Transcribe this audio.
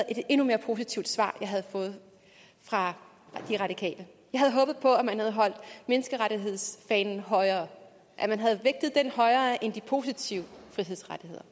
et endnu mere positivt svar jeg havde fået fra de radikale jeg havde håbet på at man havde holdt menneskerettighedsfanen højere at man havde vægtet den højere end de positive frihedsrettigheder